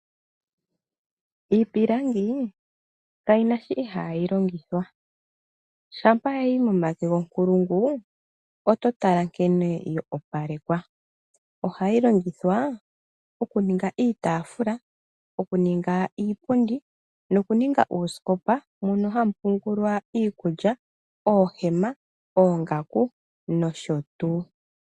Iipilangi kayi na shoka ihaayi longithwa. Shampa ya yi momake gonkulungu oto tala nkene yo opalekwa. Ohayi longithwa okuninga iitaafula, iipundi noshowo uusikopa mono hamu pungulwa iikulya, oohema, oongaku, nosho tuu.